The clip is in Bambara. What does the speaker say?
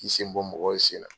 K'i sen bɔ mɔgɔw sen na.